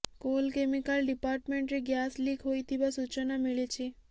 coal chemical ଡିପାର୍ଟମେଣ୍ଟରେ gas leak ହୋଇଥିବା ସୂଚନା ମିଳିଛି